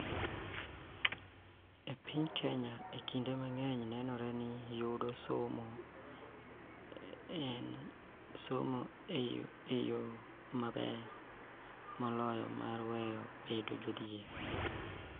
E piny Kenya, kinde mang�eny nenore ni yudo somo en yo maber moloyo mar weyo bedo jodhier.